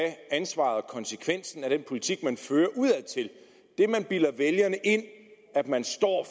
ansvaret konsekvensen af den politik man fører udadtil det man bilder vælgerne ind at man står